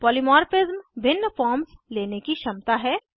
polymorphism भिन्न forms लेने की क्षमता है